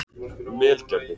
Melgerði